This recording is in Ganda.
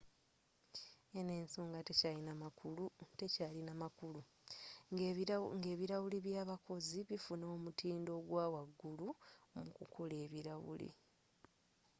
eno ensonga tekyalina makulu nga ebilawuli by'abakozi bifuna omutindo ogw'awagulu mu kukola ebilawuli